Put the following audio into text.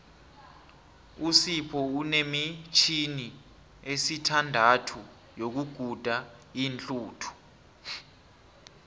usipho unemitjhini esithandathu yokuguda iinhluthu